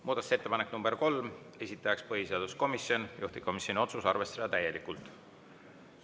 Muudatusettepanek nr 3, esitaja põhiseaduskomisjon, juhtivkomisjoni otsus: arvestada täielikult.